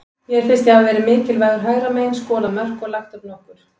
Mér finnst ég hafa verið mikilvægur hægra megin, skorað mörk og lagt upp nokkur.